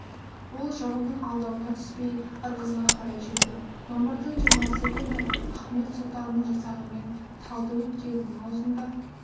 ол жауының алдауына түспей ырғызға қарай жүрді мамырдың жиырмасы күні ахмет сұлтанның жасағымен талды өткелінің аузында